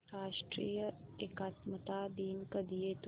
राष्ट्रीय एकात्मता दिन कधी येतो